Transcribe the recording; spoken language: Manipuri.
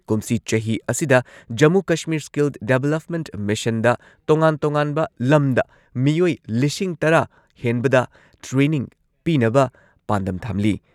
ꯀꯨꯝꯁꯤ ꯆꯍꯤ ꯑꯁꯤꯗ ꯖꯃꯨ ꯀꯁꯃꯤꯔ ꯁ꯭ꯀꯤꯜ ꯗꯦꯚꯂꯞꯃꯦꯟꯠ ꯃꯤꯁꯟꯗ ꯇꯣꯉꯥꯟ ꯇꯣꯉꯥꯟꯕ ꯂꯝꯗ ꯃꯤꯑꯣꯏ ꯂꯤꯁꯤꯡ ꯇꯔꯥ ꯍꯦꯟꯕꯗ ꯇ꯭ꯔꯦꯅꯤꯡ ꯄꯤꯅꯕ ꯄꯥꯟꯗꯝ ꯊꯝꯂꯤ꯫